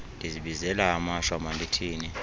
ndizibizela amashwa mandithini